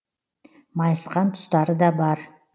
майысқан тұстары да бар